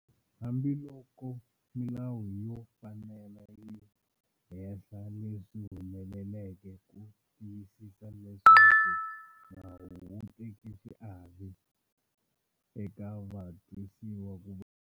Hambiloko milawu yo fanela yi hehla leswi humeleleke ku tiyisisa leswaku nawu wu teka xiave eka vatwisiwa ku.